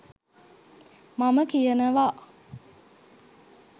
මම කියනවා.